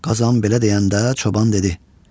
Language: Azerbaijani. Qazan belə deyəndə çoban dedi: